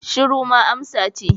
Shiru ma amsa ce